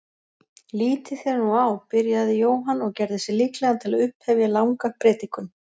Lítið þér nú á, byrjaði Jóhann og gerði sig líklegan til að upphefja langa predikun.